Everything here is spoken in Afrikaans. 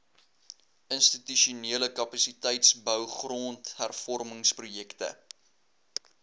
institusionele kapasiteitsbou grondhervormingsprojekte